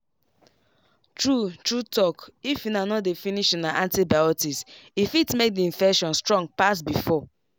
true true talkif una no dey finish una antibiotics e fit make the infection strong pass before.